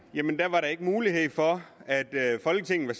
ikke var mulighed for at folketinget